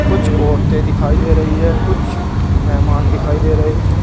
कुछ औरतें दिखाई दे रही है कुछ मेहमान दिखाई दे रहे हैं।